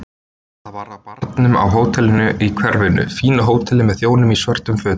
Það var á barnum á hóteli í hverfinu, fínu hóteli með þjónum í svörtum fötum.